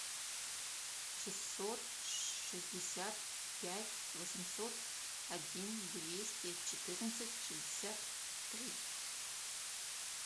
шестьсот шестьдесят пять восемьсот один двести четырнадцать шестьдесят три